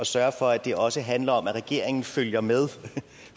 sørge for at det også handler om at regeringen følger med